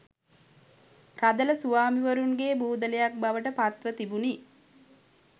රදළ ස්වාමීවරුන්ගේ බූදලයක් බවට පත්ව තිබුණි